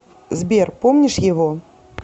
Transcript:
сбер помнишь его